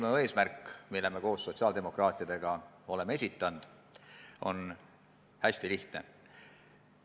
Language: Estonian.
Meie eelnõul, mille me koos sotsiaaldemokraatidega oleme esitanud, on hästi lihtne eesmärk.